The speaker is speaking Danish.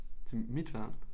Til mit værelse